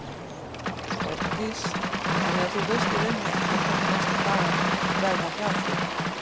Hjördís: Þannig að þú veist í rauninni ekkert hvernig næstu dagar verða hjá þér?